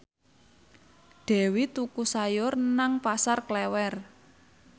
Dewi tuku sayur nang Pasar Klewer